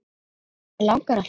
Hana langar að hlaupa.